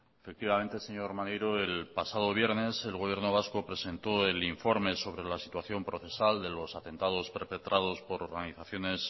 efectivamente señor maneiro el pasado viernes el gobierno vasco presentó el informe sobre la situación procesal de los atentados perpetrados por organizaciones